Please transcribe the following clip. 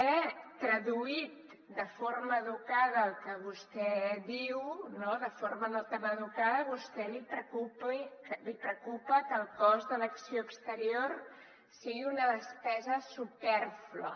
traduït de forma educada el que vostè diu de forma no tan educada a vostè li preocupa que el cost que l’acció exterior sigui una despesa supèrflua